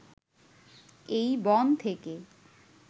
এই বন থেকে